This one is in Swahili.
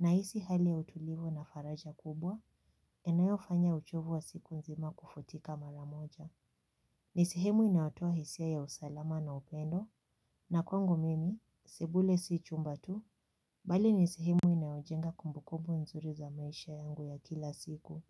nahisi hali ya utulivu na faraja kubwa inayofanya uchovu wa siku nzima kufutika mara moja. Nisehemu inayotoa hisia ya usalama na upendo na kwangu mimi, sebule si chumba tu bali nisehemu inayojenga kumbu kumbu nzuri za maisha yangu ya kila siku.